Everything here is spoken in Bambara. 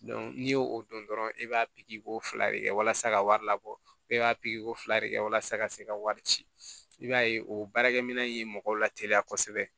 n'i y'o o dɔn dɔrɔn e b'a pikiri ko fila de kɛ walasa ka wari labɔ e b'a pikiri ko fila de kɛ walasa ka se ka wari ci i b'a ye o baarakɛminɛn in ye mɔgɔw lateliya kosɛbɛ